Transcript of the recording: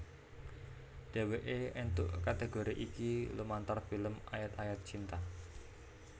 Dhéwéké éntuk kategori iki lumantar film Ayat Ayat Cinta